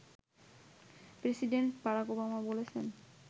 president Barack Obama বলেছেন